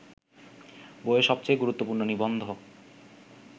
বইয়ের সবচেয়ে গুরুত্বপূর্ণ নিবন্ধ